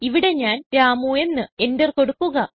ഇവിടെ ഞാൻ രാമു എന്ന് എന്റർ കൊടുക്കുക